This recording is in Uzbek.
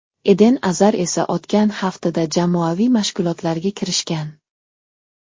Eden Azar esa o‘tgan haftada jamoaviy mashg‘ulotlarga kirishgan.